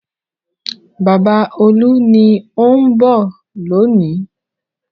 Bàbá Olú ni ó ń bọ̀ lónìí.